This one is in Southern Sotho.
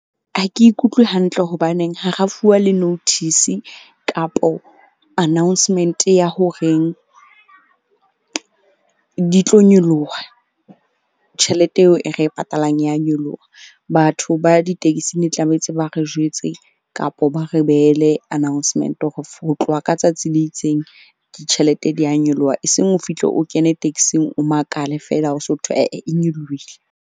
Ha ke ikutlwe hantle hobaneng hara fuwa le notice kapo announcement ya horeng di tlo nyoloha tjhelete eo e re e patalang, ya nyoloha. Batho ba di-taxi ne tlametse ba re jwetse kapa ba re behele announcement-e hore ho tloha ka tsatsi le itseng ke tjhelete di ya nyoloha. Eseng o fihle o kene taxi-ng o makale feela ho so thwe ae e nyolohile.